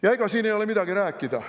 Ja ega siin ei ole midagi rääkida.